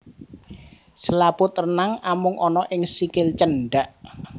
Selaput renang amung ana ing sikil cendak